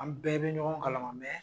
An bɛɛ be ɲɔgɔn kalan ma mɛ